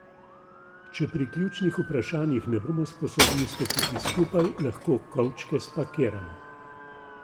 Če pri ključnih vprašanjih ne bomo sposobni stopiti skupaj, lahko kovčke spakiramo.